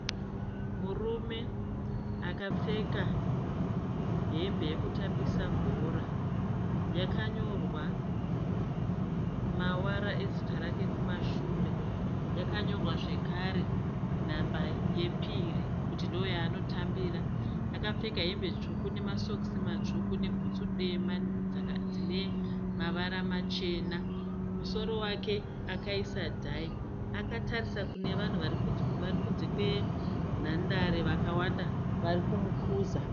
Murume akapfeka hembe yekutambisa bhora yakanyorwa mavara ezita rake kumashure yakanyorwa zvekare nhamba yepiri kuti ndooyaanotambira. Akapfeka hembe tsvuku nemasokisi matsvuku nebhutsu dema dzinemavara machena. Musoro wake akaisa dhayi. Akatarisa kunevanhu varikunze kwenhandare vakawanda varikumukuza.